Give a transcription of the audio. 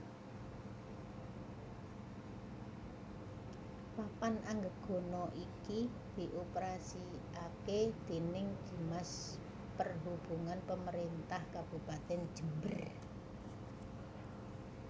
Papan Anggegana iki dioperasikake déning Dinas Perhubungan Pemerintah Kabupatèn Jember